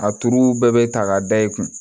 A tuuru bɛɛ bɛ ta k'a da i kun